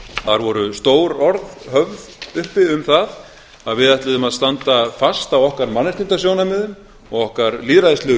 þar voru stór orð höfð uppi um það að við ætluðum að standa fast á okkar mannréttindasjónarmiðum og okkar lýðræðislegu